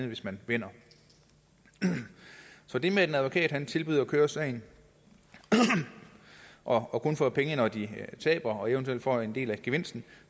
hvis man vinder så det med at advokater tilbyder at køre sagen og og kun får penge når de taber og eventuelt får en del af gevinsten